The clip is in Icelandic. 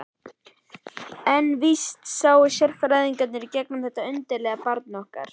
En vísast sáu sérfræðingarnir í gegnum þetta undarlega barn okkar.